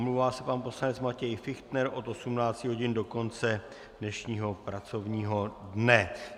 Omlouvá se pan poslanec Matěj Fichtner od 18 hodin do konce dnešního pracovního dne.